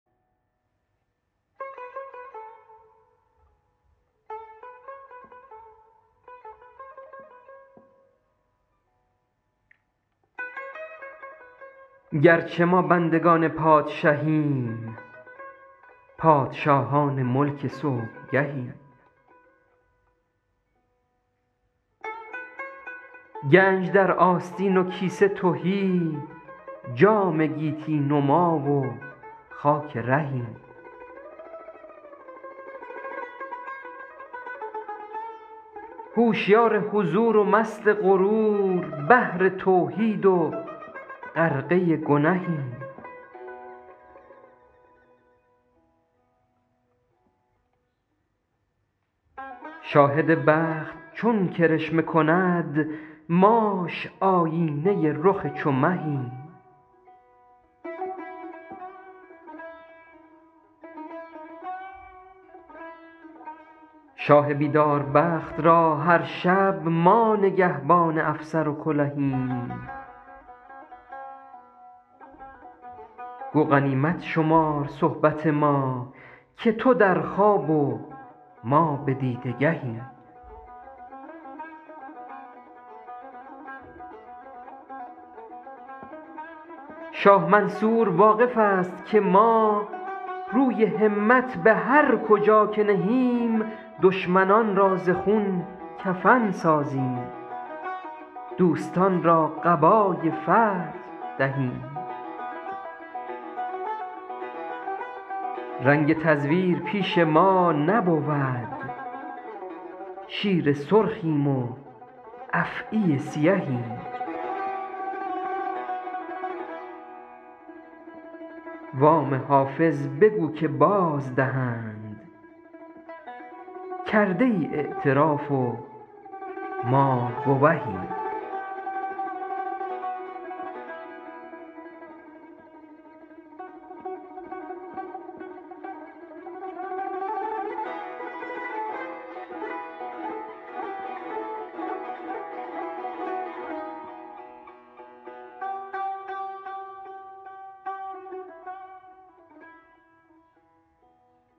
گرچه ما بندگان پادشهیم پادشاهان ملک صبحگهیم گنج در آستین و کیسه تهی جام گیتی نما و خاک رهیم هوشیار حضور و مست غرور بحر توحید و غرقه گنهیم شاهد بخت چون کرشمه کند ماش آیینه رخ چو مهیم شاه بیدار بخت را هر شب ما نگهبان افسر و کلهیم گو غنیمت شمار صحبت ما که تو در خواب و ما به دیده گهیم شاه منصور واقف است که ما روی همت به هر کجا که نهیم دشمنان را ز خون کفن سازیم دوستان را قبای فتح دهیم رنگ تزویر پیش ما نبود شیر سرخیم و افعی سیهیم وام حافظ بگو که بازدهند کرده ای اعتراف و ما گوهیم